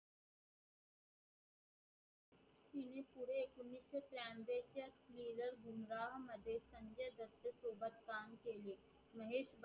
Mahesh Bhat